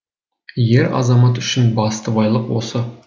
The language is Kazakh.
ер азамат үшін басты байлық осы